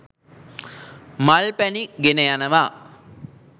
මල් පැණි ගෙන යනවා.